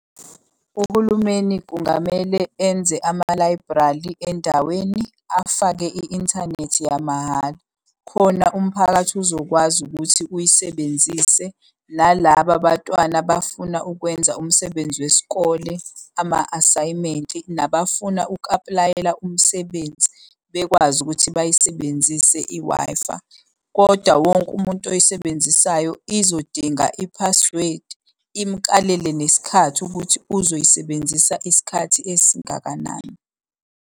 Uhulumeni kungamele enze amalayibhrali endaweni afake i-inthanethi yamahhala, khona umphakathi uzokwazi ukuthi uyisebenzise nalaba abatwana bafuna ukwenza umsebenzi wesikole ama-asayimenti, nabafuna uku-apulayela umsebenzi bekwazi ukuthi bayisebenzise i-Wi-Fi. Kodwa, wonke umuntu oyisebenzisayo izodinga i-password imukalele nesikhathi ukuthi uzoyisebenzisa isikhathi esingakanani.